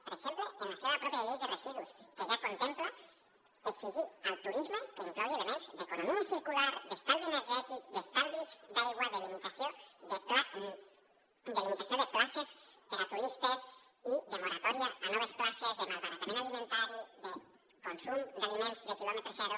per exemple en la seva pròpia llei de residus que ja contempla exigir al turisme que inclogui elements d’economia circular d’estalvi energètic d’estalvi d’aigua de limitació de places per a turistes i de moratòria a noves places de malbaratament alimentari de consum d’aliments de quilòmetre zero